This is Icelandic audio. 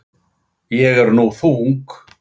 Ég er nú þung.